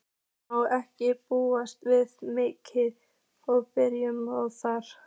Má ekki búast við miklum breytingum þar?